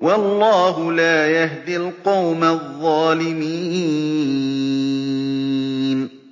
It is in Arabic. وَاللَّهُ لَا يَهْدِي الْقَوْمَ الظَّالِمِينَ